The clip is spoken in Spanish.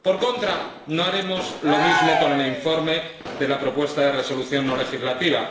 Por contra, no haremos lo mismo con el informe de la propuesta de Resolución no legislativa.